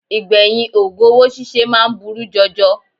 Ìgbẹ̀yìn ògùn owó síse máa ń burú jọjọ